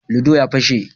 "Ludo " ya pashe.